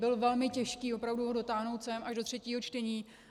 Bylo velmi těžké opravdu ho dotáhnout sem, až do třetího čtení.